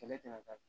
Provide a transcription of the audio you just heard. Kɛlɛ tɛ na da